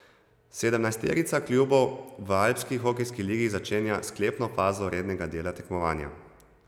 Sedemnajsterica klubov v alpski hokejski ligi začenja sklepno fazo rednega dela tekmovanja.